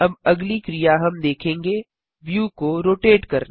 अब अगली क्रिया हम देखेंगे व्यू को रोटेट करना